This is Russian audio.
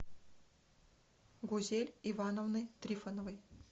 гузель ивановны трифоновой